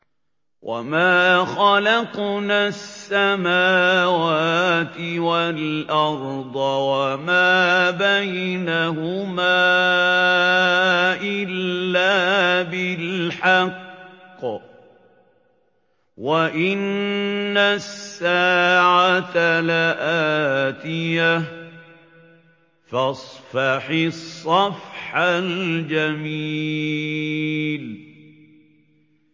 وَمَا خَلَقْنَا السَّمَاوَاتِ وَالْأَرْضَ وَمَا بَيْنَهُمَا إِلَّا بِالْحَقِّ ۗ وَإِنَّ السَّاعَةَ لَآتِيَةٌ ۖ فَاصْفَحِ الصَّفْحَ الْجَمِيلَ